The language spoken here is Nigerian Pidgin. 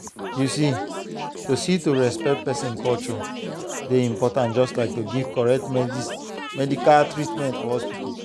you see to see to respect person culture dey important just like to give correct medical treatment for hospital.